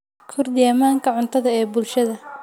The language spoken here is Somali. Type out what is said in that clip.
Kordhi ammaanka cuntada ee bulshada.